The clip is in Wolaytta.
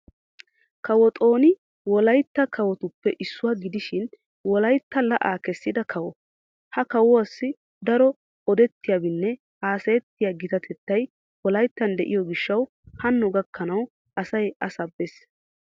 Kawo xooni wolayitta kawotuppe issuwa gidishin wolayitta la'aa kessida kawo. Ha kawuwaassi daro odettiyaabinne haasayettiya gitatettay wolayittan de'iyoo gishshawu Hanno gakkanawu asay a sabbes.